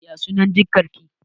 Ya sunan jikar ki?